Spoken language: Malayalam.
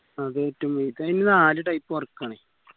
അതെ ല് നാല് type work ആണ്.